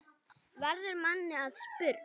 verður manni að spurn.